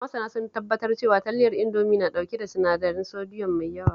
Masana sun tabbatar cewa, talyar Indomi na ɗauke da sinadarin sodiyom mai yawa